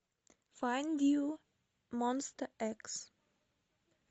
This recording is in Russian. файнд ю монста экс